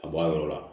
Ka bɔ a yɔrɔ la